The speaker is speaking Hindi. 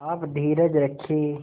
आप धीरज रखें